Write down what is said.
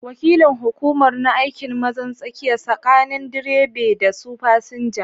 Wakilin hukumar na aikin mazan tsakiya sakanin direbe da su fasinja.